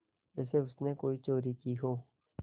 जैसे उसने कोई चोरी की हो